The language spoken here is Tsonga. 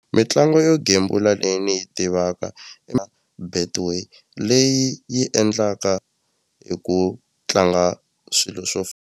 Mitlangu yo gembula leyi ni yi tivaka i Betway leyi yi endlaka hi ku tlanga swilo swo .